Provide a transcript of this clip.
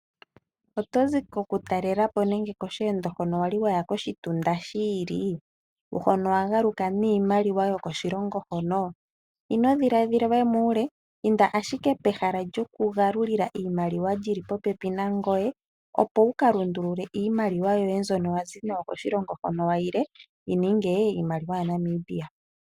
Otozi koku taalelapo nenge Wali waya koshi tunda shili hono wa galuka miimaliwa yoko shilongo hono? Ino dhiladhila we muule inda ashike pehala lyoku galula iimaliwa lyili popepi nangoye opo wuka lundulule iimaliwa yoye mbyono wazi nayo koshilongo hono wa tile yi ninge iimaliwa ya Namibia.